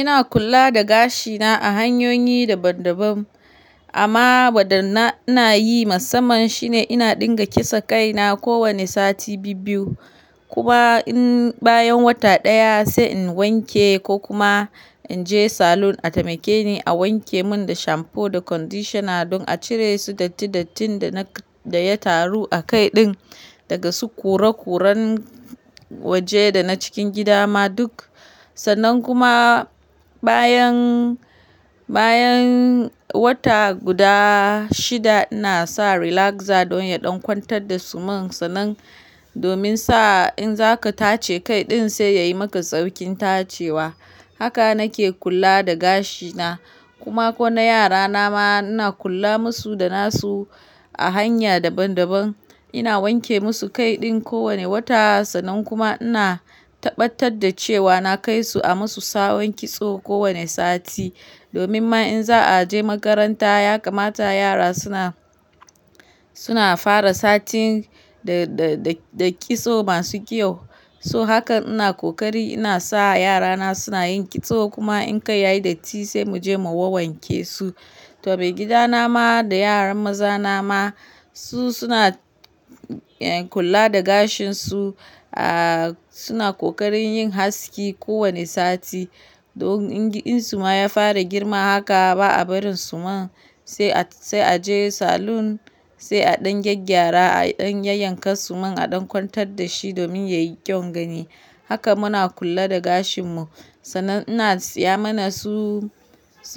Ina kula da gashina a hanyoyi daban-daban amma wadda ina yi musamman shine ina ɗinka kisa kai na kowane sati biyu-biyu kuma in bayan wata ɗaya sai in wanke ko kuma in je salon a taimake ni a wanke mun da shampoo da conditioner don a cire su dattin-dattin da ya taru a kai ɗin daga su kure-kuren waje da na cikin gida ma duk. Sannan kuma bayan wata guda shida ina sa relaxer don ya ɗankwantar da suman sannan domin sa in zaka tace kai ɗin sai yayi maka saukin tacewa. Haka nake kula da gashina kuma ko na yara na ma ina kula masu da nasu a hanya daban-daban. Ina wanke musu kai ɗin kowane wata sannan kuma ina tabbatar da cewa na kai su a masu sa wanke tsoho kowane sati domin ma in za a je makaranta ya kamata yara suna fara sati da kitso masu kyau. So haka ina kokari ina sa yarana suna yin kitso kuma in kai yayi datti sai mu je mu wanke su. To mai gida na ma da yaran maza na ma su suna kula da gashin su, suna kokarin yin haske kowane sati don in su ma ya fara girma haka ba a barin suman sai a je salon sai a ɗan gyaggyara a ɗan yanka suman a ɗankwantar da shi domin yayi kyau gani. Haka muna kula da gashin mu sannan ina siya mana su